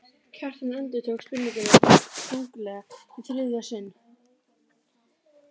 Kjartan endurtók spurninguna þunglega í þriðja sinn.